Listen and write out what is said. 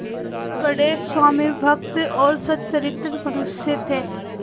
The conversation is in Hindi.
वह बड़े स्वामिभक्त और सच्चरित्र मनुष्य थे